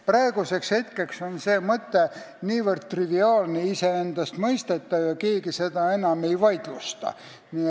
Praeguseks on see mõte niivõrd triviaalne ja iseendastmõistetav, et keegi seda enam ei vaidlusta.